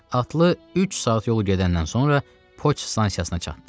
Atlı üç saat yol gedəndən sonra poçt stansiyasına çatdı.